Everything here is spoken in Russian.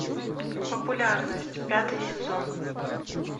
популярность пятый сезон